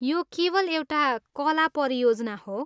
यो केवल एउटा कला परियोजना हो।